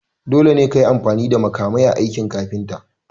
Dole kayi amfani da makamai a aikin kafinta.